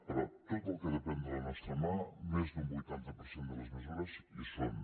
però tot el que depèn de la nostra mà més d’un vuitanta per cent de les mesures hi són